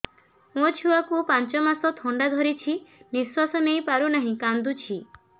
ମୋ ଛୁଆକୁ ପାଞ୍ଚ ମାସ ଥଣ୍ଡା ଧରିଛି ନିଶ୍ୱାସ ନେଇ ପାରୁ ନାହିଁ କାଂଦୁଛି